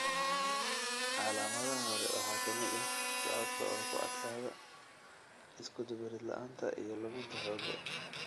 Calaamadaha hore waxaa ka mid ah socodka oo ku adkaada, iskudubarid la'aanta, iyo luminta xoogga.